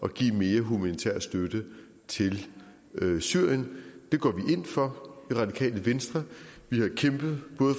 at give mere humanitær støtte til syrien det går vi ind for i radikale venstre vi har kæmpet for